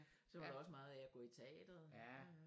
Så holder jeg også meget af at gå i teateret